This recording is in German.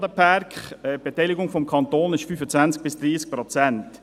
Die Beteiligung des Kantons liegt bei 25–30 Prozent.